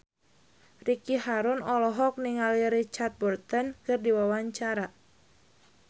Ricky Harun olohok ningali Richard Burton keur diwawancara